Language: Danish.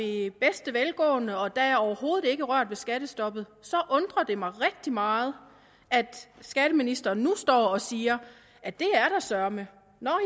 i bedste velgående og at der overhovedet ikke er rørt ved skattestoppet så undrer det mig rigtig meget at skatteministeren nu står og siger at det er der søreme nå